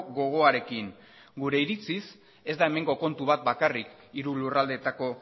gogoarekin gure iritziz ez da hemengo kontu bat bakarrik hiru lurraldeetako